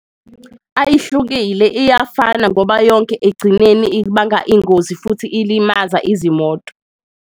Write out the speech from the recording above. Ayihlukile iyafana ngoba yonke ekugcineni ibanga ingozi futhi ilimaza izimoto.